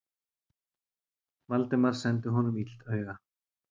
Valdimar sendi honum illt auga.